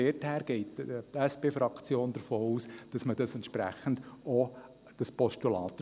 Daher geht die SP-Fraktion davon aus, dass dieses Postulat entsprechend erfüllt ist.